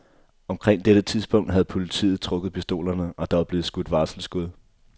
Omkring dette tidspunkt havde politiet trukket pistolerne, og der var blevet skudt varselsskud.